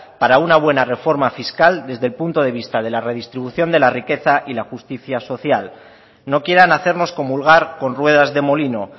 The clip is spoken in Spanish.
para una buena reforma fiscal desde el punto de vista de la redistribución de la riqueza y la justicia social no quieran hacernos comulgar con ruedas de molino